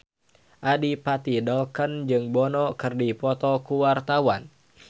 Adipati Dolken jeung Bono keur dipoto ku wartawan